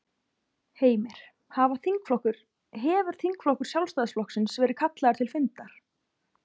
Heimir: Hafa þingflokkur, hefur þingflokkur Sjálfstæðisflokksins verið kallaður til fundar?